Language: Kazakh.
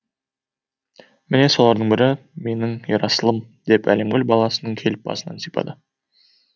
міне солардың бірі менің ерасылым деп әлемгүл баласының келіп басынан сипады